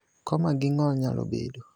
Koma gi ng`ol nyalo bedo.